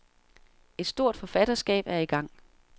Et stort forfatterskab er i gang.